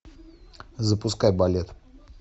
запускай балет